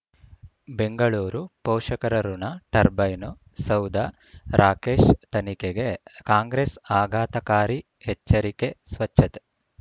ಬೆಂಗಳೂರು ಪೋಷಕರಋಣ ಟರ್ಬೈನು ಸೌಧ ರಾಕೇಶ್ ತನಿಖೆಗೆ ಕಾಂಗ್ರೆಸ್ ಆಘಾತಕಾರಿ ಎಚ್ಚರಿಕೆ ಸ್ವಚ್ಛತೆ